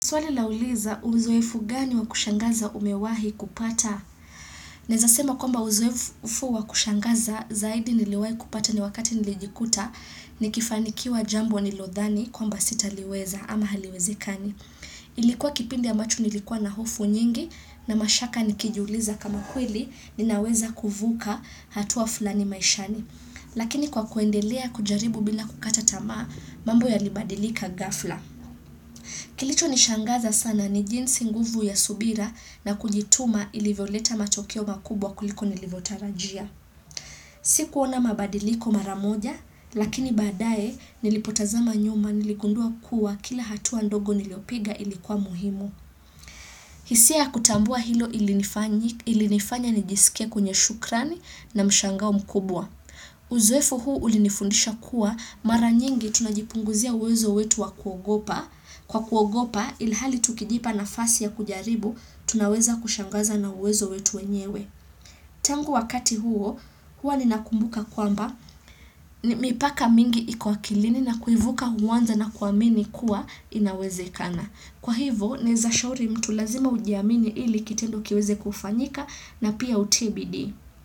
Swali lauliza uzoefu gani wa kushangaza umewahi kupata? Naeza sema kwamba uzoefu wa kushangaza zaidi niliwahi kupata ni wakati nilijikuta ni kifanikiwa jambo nilodhani kwamba sita liweza ama haliwezekani. Ilikuwa kipindi ambacho nilikuwa na hofu nyingi na mashaka nikijiuliza kama kweli ninaweza kuvuka hatua fulani maishani. Lakini kwa kuendelea kujaribu bila kukata tamaa mambo yalibadilika ghafla. Kilicho nishangaza sana ni jinsi nguvu ya subira na kujituma ilivyoleta matokeo makubwa kuliko nilivotarajia. Sikuona mabadiliko maramoja, lakini badae nilipotazama nyuma niligundua kuwa kila hatua ndogo nilopiga ilikuwa muhimu. Hisia kutambua hilo ili nifanya nijisikia kwenye shukrani na mshangao mkubwa. Uzoefu huu ulinifundisha kuwa mara nyingi tunajipunguzia uwezo wetu wa kuogopa. Kwa kuogopa ilhali tukijipa nafasi ya kujaribu, tunaweza kushangaza na uwezo wetu wenyewe. Tangu wakati huo, hua ninakumbuka kwamba, mipaka mingi iko akilini na kuivuka huwanza na kuamini kuwa inawezekana. Kwa hivo, naeza shauri mtu lazima ujiamini ili kitendo kiweze kufanyika na pia utii bidii.